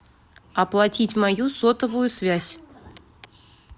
оплатить мою сотовую связь